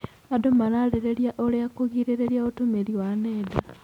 Andũ mararĩrĩria ũrĩa kũgirĩrĩria ũtũmĩri wa nenda.